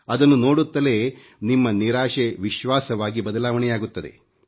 ಅದನ್ನು ನೋಡುತ್ತಲೇ ನಿಮ್ಮ ನಿರಾಶೆ ವಿಶ್ವಾಸವಾಗಿ ಬದಲಾವಣೆಯಾಗುತ್ತದೆ